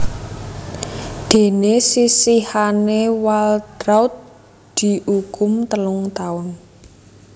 Déné sisihane Waltraudt diukum telung taun